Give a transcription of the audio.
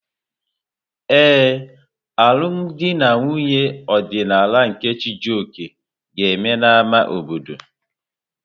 Ee, alụm di na nwunye ọdịnala nke Chijioke ga-eme n'ámá obodo.